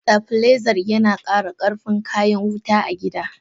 Stabiliser yana kara karfin kayan wuta a gida.